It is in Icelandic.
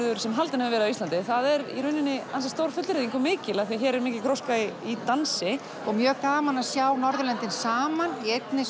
sem haldinn hefur verið á Íslandi það er í rauninni ansi stór fullyrðing og mikil af því að hér er mikil gróska í í dansi og mjög gaman að sjá Norðurlöndin saman í einni